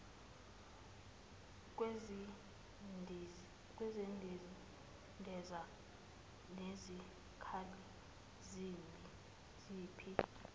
kwezindiza nezikhali zempi